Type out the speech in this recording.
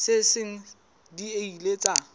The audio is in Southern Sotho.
tse seng di ile tsa